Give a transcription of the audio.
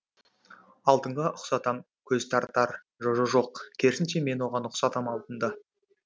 алтынға ұқсатам көз тартар жо жо жоқ керісінше мен оған ұқсатам алтынды